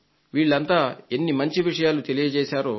వాళ్లంతా ఎన్ని మంచి విషయాలు తెలియజేశారో